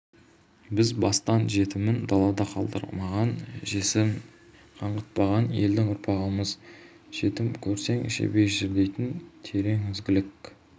біз бастан жетімін далада қалдырмаған жесірін қаңғытпаған елдің ұрпағымыз жетім көрсең жебей жүр дейтін терең ізгілік